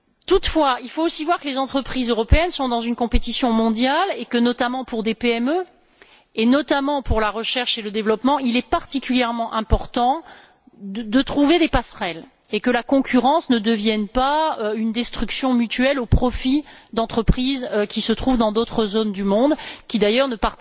Toutefois, il faut aussi voir que les entreprises européennes sont dans une concurrence mondiale et que, notamment pour des PME et surtout pour la recherche et le développement, il est particulièrement important de trouver des passerelles et nécessaire de s'assurer que la concurrence ne devienne pas une destruction mutuelle au profit d'entreprises qui se trouvent dans d'autres zones du monde qui, d'ailleurs, ne